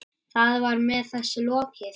Þar með var þessu lokið.